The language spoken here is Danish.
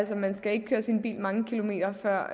man skal ikke køre sin bil mange kilometer før